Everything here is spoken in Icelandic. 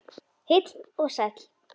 Heill og sæll!